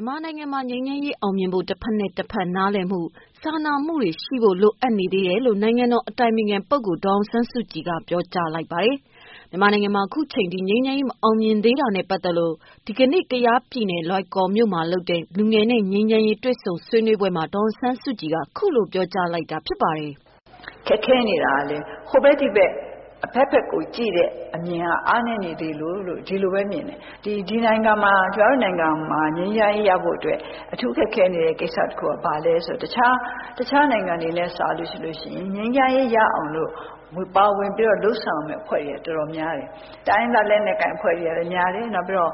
န်မာနိုင်ငံမှာ ငြိမ်းချမ်းရေးအောင်မြင်ဖို့ တဖက်နဲ့တဖက် နားလည်မှု၊ စာနာမှုရှိဖို့လိုအပ်တယ်လို့ နိုင်ငံတော်အတိုင်ပင်ခံပုဂ္ဂိုလ် ဒေါ်အောင်ဆန်းစုကြည်က ပြောကြားလိုက်ပါတယ်။ မြန်မာနိုင်ငံမှာ ခုချိန်ထိ ငြိမ်းချမ်းရေး မအောင်မြင်သေးတာနဲ့ပတ်သက်လို့ ဒီကနေ့ ကယားပြည်နယ်လွိုင်ကော်မြို့မှာလုပ်တဲ့ လူငယ်နဲ့ငြိမ်းချမ်းရေး တွေ့ဆုံဆွေးနွေးပွဲမှာ ဒေါ်အောင်ဆန်းစုကြည်က ခုလို ပြောကြားခဲ့ပါတယ်။ "ခက်ခဲနေတာကလည်း ဟိုဘက်ဒီဘက် အဘက်ဘက်ကိုကြည့်တဲ့အမြင်တွေက အားနည်းနေသေးလို့ ဒီလိုပဲမြင်တယ်။ ကျမတို့ နိုင်ငံမှာ ငြိမ်းချမ်းရေးရဖို့အတွက် အထူးခက်ခဲနေတဲ့ ကိစ္စတခုက ဘာလဲဆိုရင် တခြားနိုင်ငံတွေနဲ့ စာရင် ငြိမ်းချမ်းရေးရအောင်လို့ ပါဝင်ပြီးတော့ လုပ်ဆောင်တဲ့ အဖွဲ့တွေက တော်တော်များတယ်။ တိုင်းရင်းသားလက်နက်ကိုင်အဖွဲ့တွေကလည်းများတယ်။ နောက်ပြီးတော့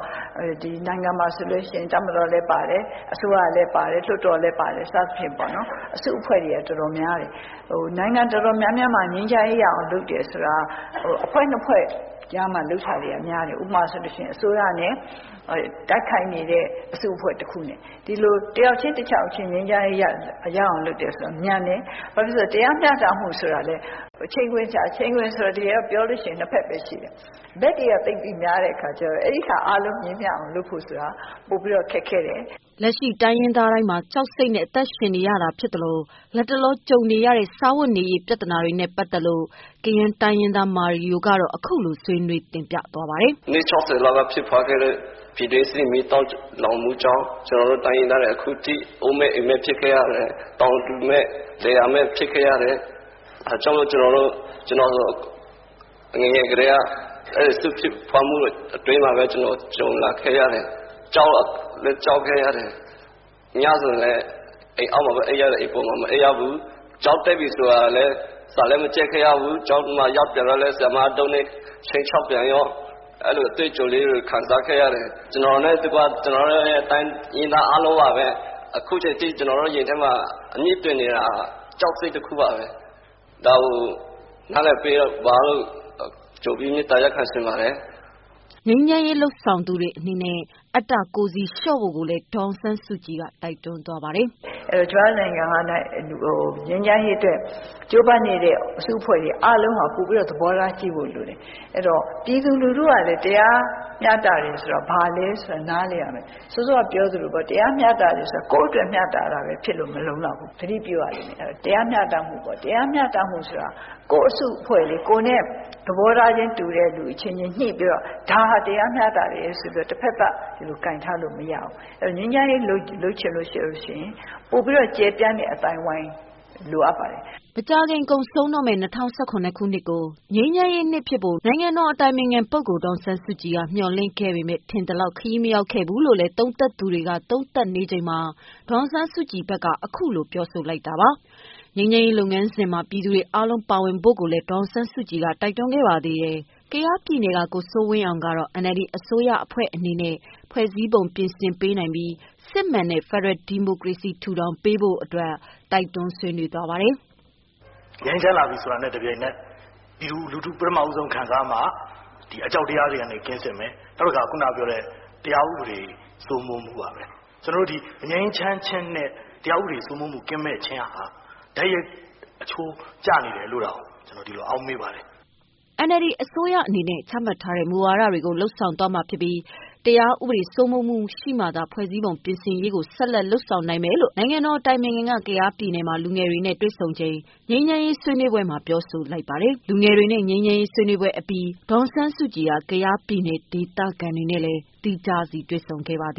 ဒီနိုင်ငံမှာဆိုရင် တပ်မတော်လည်း ပါတယ်။ အစိုးရလည်းပါတယ်။ လွှတ်တော်လည်းပါတယ် စသဖြင့်ပေါ့နော် အစုအဖွဲ့တွေကတော်တော်များတယ်။ နိုင်ငံတော်တော်များများမှာ ငြိမ်းချမ်းရေးရအောင်လုပ်တယ်ဆိုတာက အဖွဲ့ ၂ ဖွဲ့ကြားမှာလုပ်တာတွေကများတယ်။ ဥပမာ-အစိုးရနဲ့ တိုက်ခိုက်နေတဲ့ အစုအဖွဲ့ ၁ ခုနဲ့ ဒီလို တယောက်ချင်းတယောက်ချင်း ငြိမ်းချမ်းရေးရအောင်လုပ်တယ်ဆိုတာက မြန်တယ်။ ဘာဖြစ်လို့လဲဆိုတော့ တရားမျှတမှုဆိုတာလည်း ချိန်ခွင်လျှာ၊ တကယ်တော့ ချိန်ခွင်ဆိုတာလည်း တကယ်တော့ ပြောရင် ၂ ဘက်ပဲ ရှိတယ်။ အခုက ဘက်တွေက သိပ်ပြီးများတဲ့အခါကျတော့ အဲဒီဟာအားလုံးညီမျှအောင်လုပ်ဖို့ဆိုတာ ပိုပြီးတော့ ခက်ခဲတယ်။" လက်ရှိ တိုင်းရင်းသားတိုင်းမှာ ကြောက်စိတ်နဲ့အသက်ရှင်သန်နေရဆဲဖြစ်သလို လတ်တလော ကြုံနေရတဲ့စားဝတ်နေရေး ပြဿနာတွေနဲ့ပတ်သတ်လို့ ကယန်းတိုင်းရင်းသား မာရီယိုက ဆွေးနွေးပွဲမှာခုလို ဆွေးနွေးပါတယ်။ "အနှစ် ၆၀ လောက်လောက်ဖြစ်ပွားခဲ့တဲ့ ပြည်တွင်းစစ်မီးတောက်လောင်မှုကြောင့် ကျနော်တို့ တိုင်းရင်းသားတွေအခုအထိ အိုးမဲ့အိမ်မဲ့ ဖြစ်ခဲ့ရတယ်။ တောင်သူမဲ့ လယ်ယာမဲ့ ဖြစ်ခဲ့ရတယ်။ ဒါကြောင့်မို့လို့ ကျနော်ဆိုရင် ငယ်ငယ်ကတည်းက အဲဒီစစ်ဖြစ်ပွားမှုအတွင်းမှာပဲ ကြုံလာခဲ့ရတယ်။ ကြောက်လည်းကြောက်ခဲ့ရတယ် ညဆိုရင်လည်း အိမ်အောက်ဘက်မှာပဲ အိပ်ခဲ့ရတယ် အပေါ်မှာ မအိပ်ခဲ့ရဘူး။ ကျောင်းတက်ပြီဆိုရင်လည်း စာလည်းမကျက်ခဲ့ရဘူးဆိုတော့ ဆရာမက တုတ်နဲ့ ခြိမ်းခြောက်ပြန်ရော။ အဲဒီလိုအတွေ့အကြုံလေးတွေ ခံစားခဲ့ရတယ်။ ကျနော်နှင့်တကွ တိုင်းရင်းသားအားလုံးရင်ထဲမှာ အခုအချိန်အထိ အမြစ်တွယ်နေတာက ကြောက်စိတ်တခုပါပဲ ဒါကို နားလည်ပေးပါလို့ ကြိုပြီးမေတ္တာရပ်ခံချင်ပါတယ်။" ငြိမ်းချမ်းရေးလုပ်ဆောင်သူတွေအနေနဲ့ အတ္တ ကိုယ်စီလျော့ဖို့လည်း ဒေါ်အောင်ဆန်းစုကြည်က တိုက်တွန်းပါတယ်။ "ကျမတို့နိုင်ငံမှာ ငြိမ်းချမ်းရေးအတွက်ကြိုးပမ်းနေတဲ့ အစုအဖွဲ့တွေအားလုံးဟာ ပိုပြီးတော့ သဘောထားကြီးဖို့လိုတယ်။ အဲဒီတော့ ပြည်သူလူထုကလည်း တရားမျှတတယ်ဆိုတာ ဘာလဲဆိုတာကို နားလည်ရမယ်။ စောစောကပြောသလိုပေါ့ တရားမျှတတယ်ဆိုတာ ကိုယ့်အတွက်မျှတတာပဲမဖြစ်ဖို့ သတိပြုရမယ်။ တရားမျှတမှုပေါ့၊ တရားမျှတမှုဆိုတာက ကိုယ့်အစုအဖွဲ့လေး ကိုယ်နဲ့ သဘောထားချင်းတူတဲ့ လူတွေညှိပြီးတော့ ဒါဟာ တရားမျှတတယ်ဆိုပြီးတော့ တဖက်သတ် ကိုင်ထားလို့မရဘူး။ အဲဒီတော့ ငြိမ်းချမ်းရေး လုပ်ချင်ရင် ပိုပြီးတော့ ကျယ်ပြန့်တဲ့အသိုင်းအဝိုင်းလိုအပ်ပါတယ်။" မကြာခင်ကုန်ဆုံးတော့မယ့် ၂၀၁၇နှစ် ငြိမ်းချမ်းရေးနှစ်ဖြစ်ဖို့ နိုင်ငံတော်အတိုင်ပင်ခံ ပုဂ္ဂိုလ်ဒေါ်အောင်ဆန်းစုကြည်က မေ ျှာ်လင့်ခဲ့ပေမဲ့ ထင်သလောက် ခရီးမရောက်ခဲ့ဘူးလို့ သုံးသပ်သူတွေက သုံးသပ်နေကြချိန်မှာ ဒေါ်အောင်ဆန်းစုကြည်က အခုလို ပြောဆိုလိုက်တာပါ။ ငြိမ်းချမ်းရေးလုပ်ငန်းစဉ်မှာ ပြည်သူတွေ အားလုံးပါဝင်ပေးကြဖို့ကိုလည်း ဒေါ်အောင်ဆန်းစုကြည်ကတိုက်တွန်းခဲ့ပါတယ်။ ကယားပြည်နယ်က ကိုစိုးဝင်းအောင်ကတော့ NLD အစိုးရအဖွဲ့အနေနဲ့ ဖွဲ့စည်းပုံ ပြင်ဆင်ပေးနိုင်ပေးပြီး စစ်မှန်တဲ့ ဖက်ဒရယ် စနစ် ထူထောင်ဖို့ ဆွေးနွေးပါတယ်။ "ငြိမ်းချမ်းလာပြီဆိုတာနဲ့ ပြည်သူလူထု ပထမဦးဆုံးခံစားရမှာက အကြောက်တရားတွေအားလုံးကင်းစင်မယ် ၊ နောက်တခါ ခုနပြောတဲ့ တရားဥပဒေစိုးမိုးမှုပါပဲ။ ကျနော်တို့ မငြိမ်းချမ်းခြင်းနဲ့ တရားဥပဒေစိုးမိုးမှုကင်းခြင်းဟာ တိုက်ရိုက်အချိုးကျနေတယ်လို့တောင်ကျနော်ဒီလိုအောက်မေ့ပါတယ်။" NLD အနေနဲ့ ချမှတ်ထားတဲ့ မူဝါဒတွေကို လုပ်ဆောင်သွားမှာ ဖြစ်ပြီး တရားဥပဒေစိုးမိုးမှုရှိမှသာ ဖွဲ့စည်းပုံပြင် ဆင်ရေးကို ဆက်လက်လုပ်ဆောင် နိုင်မယ်လို့ အတိုင်ပင်ခံက ကယားပြည်နယ်မှာ လူငယ်တွေနဲ့တွေ့ဆုံလုပ်ခဲ့တဲ့ ငြိမ်းချမ်းရေးဆွေးနွေးပွဲမှာ ပြောကြားသွားပါတယ်။ လူငယ်တွေနဲ့ ငြိမ်းချမ်းရေး ဆွေးနွေးပွဲအပြီးမှာ ဒေါ်အောင်ဆန်းစုကြည်ဟာ ကယားပြည်နယ်ဒေသခံတွေနဲ့ သီးခြားတွေ့ဆုံခဲ့ပါတ